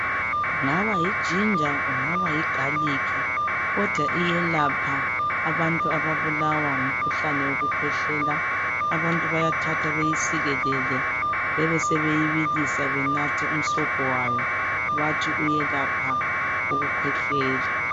Kungaba yiginger kungaba yi garlic kodwa iyelapha abantu ababulawa ngumkhuhlane wokukhwehlela abantu bayathatha beyisikelele bebesebebilisa banathe umsobho wayo bathi uyelapha umkhuhlane wokukhwehlela.